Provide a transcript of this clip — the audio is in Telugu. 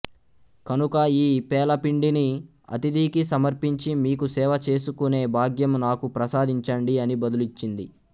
కనుక ఈ పేలపిండిని అతిథికి సమర్పించి మీకు సేవ చేసుకునే భాగ్యము నాకు ప్రసాదించండి అని బదులిచ్చింది